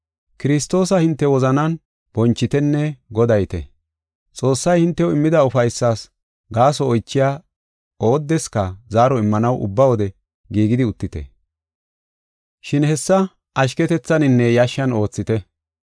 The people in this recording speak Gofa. Kiristoosa hinte wozanan bonchitenne godayite. Xoossay hintew immida ufaysas gaaso oychiya oodeska zaaro immanaw ubba wode giigidi uttite, shin hessa ashketethaninne yashshan oothite.